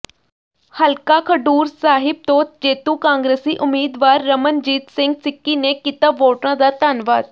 ਹਲਕਾ ਖਡੂਰ ਸਾਹਿਬ ਤੋਂ ਜੇਤੂ ਕਾਂਗਰਸੀ ਉਮੀਦਵਾਰ ਰਮਨਜੀਤ ਸਿੰਘ ਸਿੱਕੀ ਨੇ ਕੀਤਾ ਵੋਟਰਾਂ ਦਾ ਧੰਨਵਾਦ